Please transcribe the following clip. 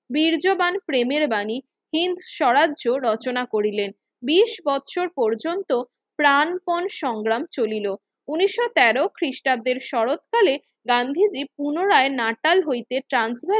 বীর্যবান প্রেমের বাণী হীন সরাজ্য রচনা করিলেন বিশ বছর পযন্ত প্রানপন সংগ্রাম চলিলো ঊনিশো তেরো খ্রিস্টাব্দের শরৎকালে গান্ধীজি পুনরায় নাটাল হইতে ট্রান্সফার